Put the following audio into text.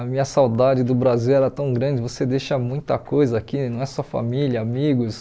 A minha saudade do Brasil era tão grande, você deixa muita coisa aqui, não é só família, amigos.